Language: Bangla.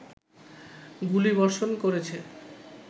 গুলিবর্ষণ করেছে